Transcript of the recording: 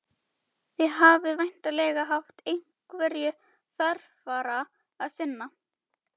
Þið hafið væntanlega haft einhverju þarfara að sinna.